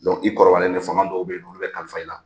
i kɔrɔbalen ne fanga dɔw bɛ yen nɔ, olu bɛ kalifa i la.